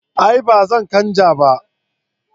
A'a ba zan canja ba